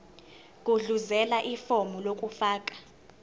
gudluzela ifomu lokufaka